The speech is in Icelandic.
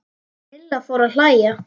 Milla fór að hlæja.